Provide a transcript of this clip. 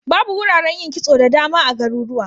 Babu wuraren yin kitso da dama a garurwa.